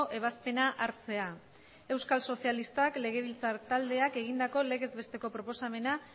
ebazpena hartzea euskal sozialistak legebiltzar taldeak egindako legez besteko proposamena